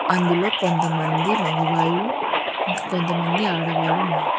అందులో కొంతమంది మగవాళ్ళు కొంతమంది ఆడవాళ్లు ఉన్నారు.